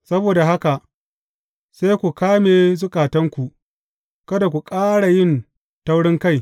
Saboda haka sai ku kame zukatanku, kada ku ƙara yin taurinkai.